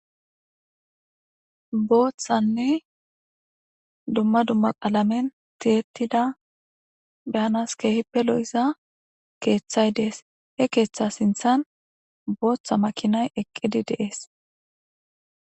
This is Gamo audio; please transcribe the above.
Bothanee duma duma qalamen ti'etida danas kehippe loiza kethay de'es he ketha sinithan botha makinay eqidi de'es